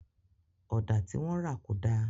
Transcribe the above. Ọ̀dà tí wọ́n rà kò dá